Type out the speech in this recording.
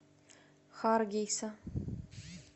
харгейса